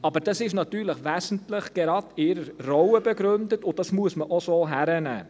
Aber das ist natürlich gerade wesentlich in deren Rolle begründet, und das muss man auch so hinnehmen.